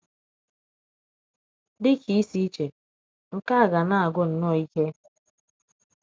Dị ka ịsi iche, nke a ga na - agwụ nnọọ ike.